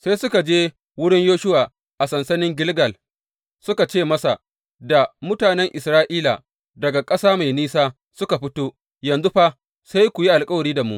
Sai suka je wurin Yoshuwa a sansanin Gilgal suka ce masa da mutanen Isra’ila, Daga ƙasa mai nisa muka fito, yanzu fa, sai ku yi alkawari da mu.